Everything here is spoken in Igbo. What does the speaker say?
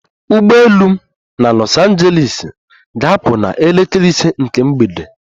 Ụgbọ elu m na Los Angeles ga-apụ na elekere ise nke mgbede